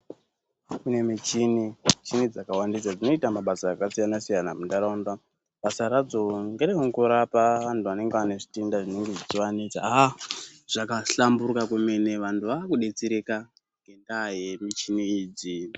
Kune michini, michini dzakawandisa dzinoita mabasa akasiyana siyana muntaraunda basa radzo ngerekungorapa vantu vanenge vane zvitenda zvinenge zvichivanetsa haaa zvakahlamburuka kwemene vantu vakudetsereka ngendaa yemichini idzi.